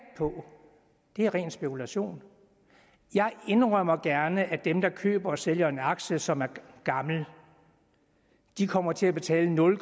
på er ren spekulation jeg indrømmer gerne at dem der køber og sælger en aktie som er gammel kommer til at betale nul